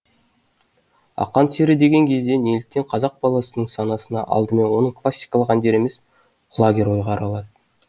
ақан сері деген кезде неліктен қазақ баласының санасына алдымен оның классикалық әндері емес құлагер ойға оралады